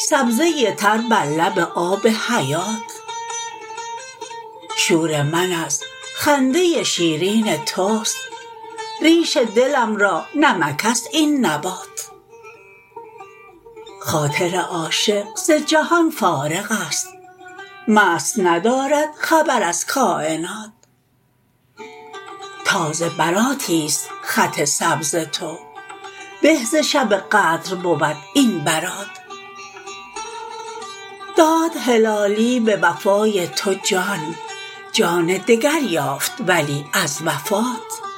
سبزه تر بر لب آب حیات شور من از خنده شیرین تست ریش دلم را نمکست این نبات خاطر عاشق ز جهان فارغست مست ندارد خبر از کاینات تازه براتیست خط سبز تو به ز شب قدر بود این برات داد هلالی بوفای تو جان جان دگر یافت ولی از وفات